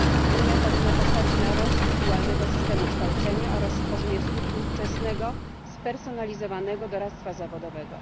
Unia powinna postawić na rozwój dualnego systemu kształcenia oraz stworzenie struktur wczesnego spersonalizowanego doradztwa zawodowego.